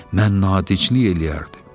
ancaq mən nadinclik eləyərdim.